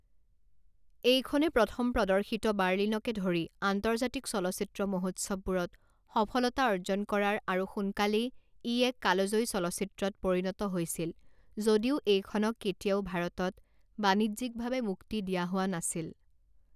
এইখনে প্ৰথম প্ৰদৰ্শিত বাৰ্লিনকে ধৰি আন্তৰ্জাতিক চলচ্চিত্ৰ মহোৎসৱবোৰত সফলতা অৰ্জন কৰাৰ আৰু সোনকালেই ই এক কালজয়ী চলচ্চিত্ৰত পৰিণত হৈছিল যদিও এইখনক কেতিয়াও ভাৰতত বাণিজ্যিকভাৱে মুক্তি দিয়া হোৱা নাছিল।